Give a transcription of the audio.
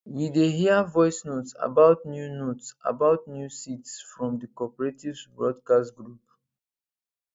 we dey hear voice notes about new notes about new seeds from the cooperatives broadcast group